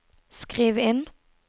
skriv inn